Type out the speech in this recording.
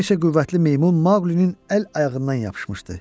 Bir neçə qüvvətli meymun Maqlinin əl ayağından yapışmışdı.